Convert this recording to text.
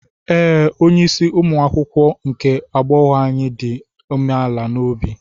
Ee, onye isi umuakwukwo nke agbọghọ anyị dị umeala n'obi.